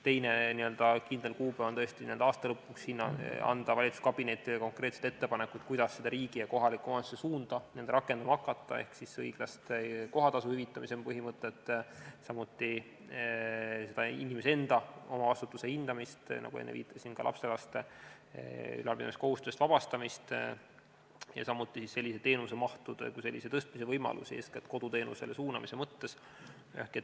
Teine kindel kuupäev on tõesti aasta lõpuks anda valitsuskabinetile konkreetsed ettepanekud, kuidas seda riigi ja kohaliku omavalitsuse suunda rakendama hakata, ehk õiglase kohatasu hüvitamise põhimõte, samuti inimese enda omavastutuse hindamine, ka lapselaste ülalpidamiskohustusest vabastamine, millele enne viitasin, samuti teenusemahtude kui selliste tõstmise võimalused, eeskätt koduteenusele suunamise mõttes.